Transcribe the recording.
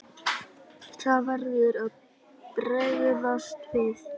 Það verður að bregðast við.